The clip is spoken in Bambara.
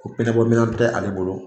Ko pinɛ bɔ minɛn tɛ ale bolo